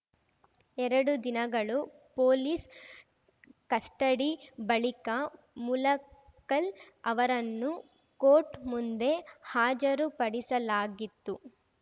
ಎರಡು ದಿನಗಳು police custody ಬಳಿಕ ಮುಲಕ್ಕಲ್‌ ಅವರನ್ನು ಕೋರ್ಟ್‌ ಮುಂದೆ ಹಾಜರುಪಡಿಸಲಾಗಿತ್ತು